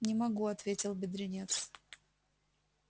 не могу ответил бедренец